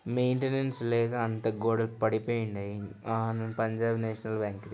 Maintenance లేక అంత గోడలు పడిపోయున్నాయి. ఆ పంజాబ్ నేషనల్ బ్యాంకు .